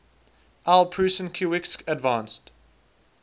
aw prusinkiewicz advanced